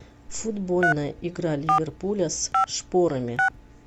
футбольная игра ливерпуля с шпорами